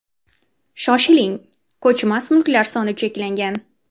Shoshiling, ko‘chmas mulklar soni cheklangan.